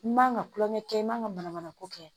I man ka tulonkɛ kɛ i man ka mana manako kɛ